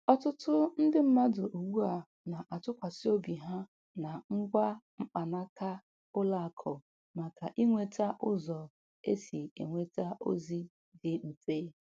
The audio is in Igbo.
Ọtụtụ ndị mmadụ ugbu a na-atụkwasị obi ha na ngwa mkpanaka ụlọ akụ maka inweta ụzọ e si enweta ozi dị mfe.